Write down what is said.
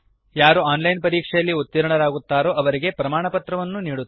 ಯಾರು online ಪರೀಕ್ಷೆಯಲ್ಲಿ ಉತ್ತೀರ್ಣರಾಗುತ್ತಾರೋ ಅವರಿಗೆ ಪ್ರಮಾಣಪತ್ರವನ್ನೂ ನೀಡುತ್ತದೆ